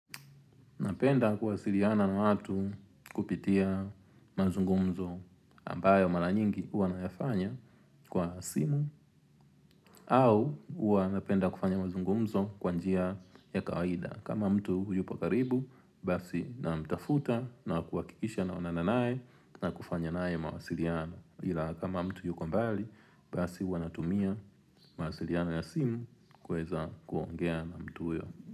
Napenda kuwasiliana na watu kupitia mazungumzo ambayo mara nyingi huwa nayafanya kwa simu au huwa napenda kufanya mazungumzo kwanjia ya kawaida. Kama mtu huyupo karibu, basi na mtafuta na kuwakikisha na onananae na kufanya nae mawasiliana. Ila kama mtu yuko mbali, basi huwa natumia mawasiliana ya simu kueza kuongea na mtu huyo.